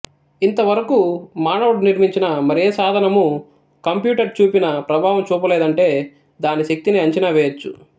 ఇంతవరకూ మానవుడు నిర్మించిన మరే సాధనమూ కంప్యూటర్ చూపిన ప్రభావం చూపలేదంటే దాని శక్తిని అంచనా వెయ్యచ్చు